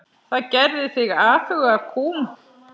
Það gerði þig afhuga kúm.